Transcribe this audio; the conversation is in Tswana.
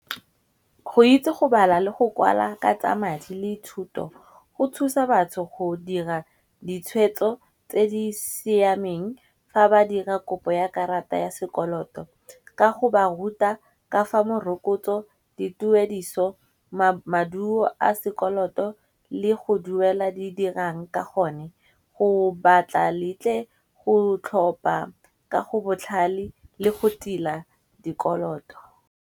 Go itse go bala le go kwala ka tsa madi le dithuto go thusa batho go dira ditshwetso tse di siameng fa ba dira kopo ya karata ya sekoloto. Ka go ba ruta ka fa morokotso, di tuediso, maduo a sekoloto le go duela di dirang ka gone. Go batla letle go tlhopa ka go botlhale le go tila dikoloto.